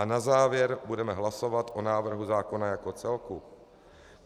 A na závěr budeme hlasovat o návrhu zákona jako celku.